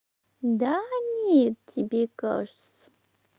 да нет тебе кажется